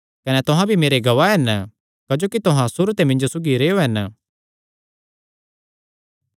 कने तुहां भी मेरे गवाह हन क्जोकि तुहां सुरू ते मिन्जो सौगी रेहयो हन